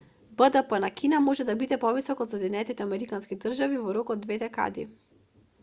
бдп на кина може да биде повисок од соединетите американски држави во рок од две декади